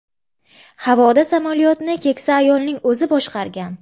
Havoda samolyotni keksa ayolning o‘zi boshqargan.